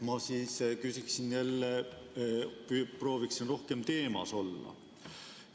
Ma küsin jälle ja proovin rohkem teemas olla.